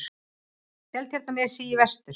Seltjarnarnesi í vestur.